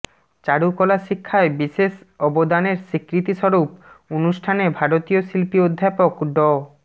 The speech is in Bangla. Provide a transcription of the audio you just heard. চারুকলা শিক্ষায় বিশেষ অবদানের স্বীকৃতিস্বরূপ অনুষ্ঠানে ভারতীয় শিল্পী অধ্যাপক ড